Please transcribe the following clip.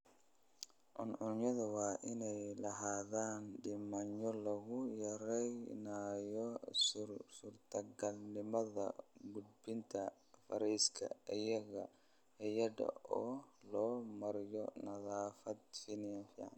Cuncunyadu waa inay lahaadaan nidaamyo lagu yareynayo suurtagalnimada gudbinta fayraska iyada oo loo marayo nadaafadda finan.